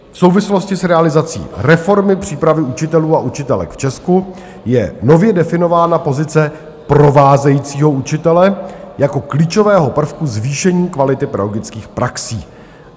V souvislosti s realizací reformy přípravy učitelů a učitelek v Česku je nově definována pozice provázejícího učitele jako klíčového prvku zvýšení kvality pedagogických praxí.